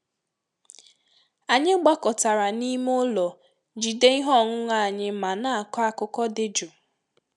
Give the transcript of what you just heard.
Anyị gbakọtara n'ime ụlọ jide ihe ọṅụṅụ anyi ma na-akọ akụkọ dị jụụ.